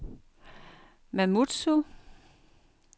Mamoudzou